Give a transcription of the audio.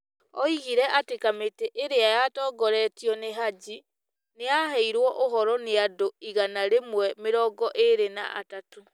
Oigire atĩ kamĩtĩ ĩrĩa yatongoretio nĩ Haji nĩ yaheirũo ũhoro nĩ andũ igana rĩmwe mĩrongo ĩrĩ na atatũ